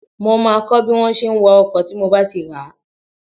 Mó máa kọ́ bí wọn ṣe wa ọkọ̀ tí mo bá ti rà á